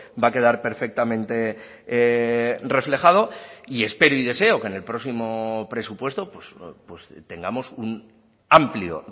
va a quedar perfectamente reflejado y espero y deseo que en el próximo presupuesto tengamos un amplio